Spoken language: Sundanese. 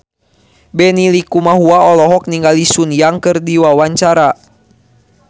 Benny Likumahua olohok ningali Sun Yang keur diwawancara